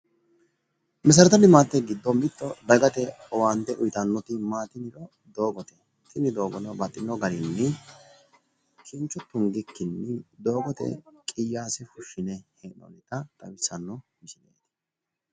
meserete limaatette giddo mitte dagate owaante uyiitannoti doogote tini baxxino garrinni kincho tunggikkini doogote qiyaase fushiinonnita hee'noonita leellishshano misileeti.